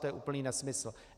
To je úplný nesmysl.